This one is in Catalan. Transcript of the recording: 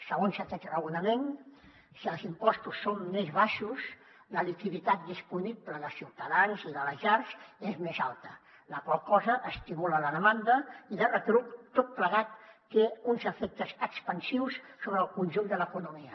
segons aquest raonament si els impostos són més baixos la liquiditat disponible dels ciutadans i de les llars és més alta la qual cosa estimula la demanda i de retruc tot plegat té uns efectes expansius sobre el conjunt de l’economia